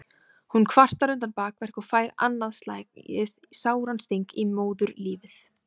Hún kvartar undan bakverk og fær annað slagið sáran sting í móðurlífið.